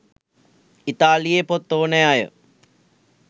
ඉතාලියේ පොත් ඕනෑ අය